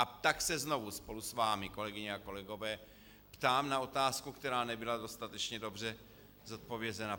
A tak se znovu spolu s vámi, kolegyně a kolegové, ptám na otázku, která nebyla dostatečně dobře zodpovězena.